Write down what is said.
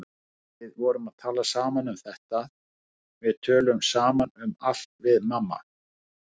Við vorum að tala saman um þetta, við tölum saman um allt við mamma.